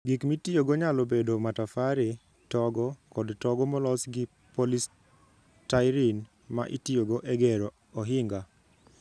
Gik mitiyogo nyalo bedo matafare, togo, kod togo molos gi polystyrene ma itiyogo e gero ohinga.